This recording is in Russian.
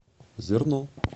зерно